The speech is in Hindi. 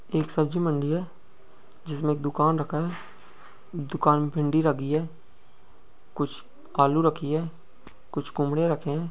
एक सब्जी मंडी है जिसमें एक दुकान रखा है दुकान पे भिंडी रखी है कुछ आलू रखी है कुछ कोम्ड़े रखे हैं।